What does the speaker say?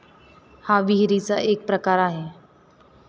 हा विहिरीचा एक प्रकार आहे.